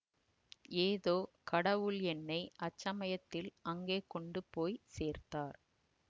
ஏதோ கடவுள் என்னை அச்சமயத்தில் அங்கே கொண்டு போய் சேர்த்தார்